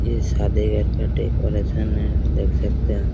ये सदी घर का डेकोरेशन हैं देख सकते हैं।